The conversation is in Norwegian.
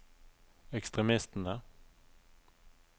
ekstremistene